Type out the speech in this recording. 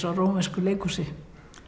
rómversku leikhúsi